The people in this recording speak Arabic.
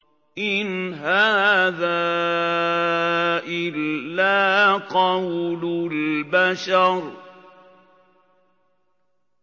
إِنْ هَٰذَا إِلَّا قَوْلُ الْبَشَرِ